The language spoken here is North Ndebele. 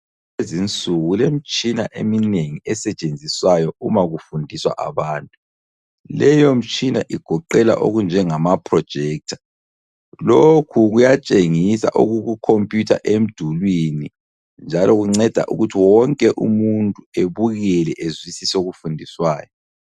Kulezinsuku kulemitshina eminengi esetshenziswayo uma kufundiswa abantu. Leyomtshina igoqela okunjengama- Projector. Lokhu kuyatshengisa okukukompiyutha emdulwini, njalo kunceda ukuthi wonke umuntu ebukele ezwisise okufundiswayo.